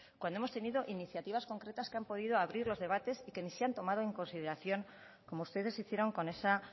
cuando hemos tenido iniciativas concretas que han podido abrir los debates y ni se han tomado en consideración como ustedes hicieron con esa